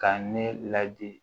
Ka ne ladi